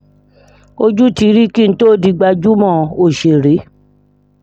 ojú ti rí kí n tóò di gbajúmọ̀ ọ̀ṣẹ̀rẹ̀